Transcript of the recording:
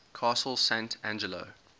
castel sant angelo